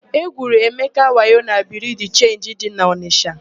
E gwuru Emeka wayo na Biriu de Chenji dị n'Ọnisha.